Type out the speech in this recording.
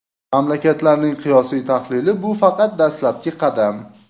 Mamlakatlarning qiyosiy tahlili – bu faqat dastlabki qadam.